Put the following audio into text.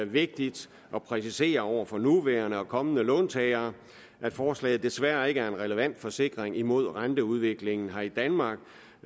vigtigt at præcisere over for nuværende og kommende låntagere at forslaget desværre ikke er en relevant forsikring imod renteudviklingen her i danmark